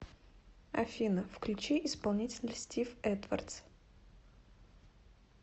афина включи исполнителя стив эдвардс